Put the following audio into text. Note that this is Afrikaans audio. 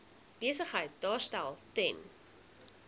besigheid daarstel ten